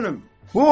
Başına dönüm?